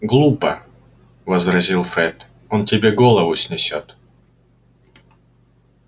глупо возразил фред он тебе голову снесёт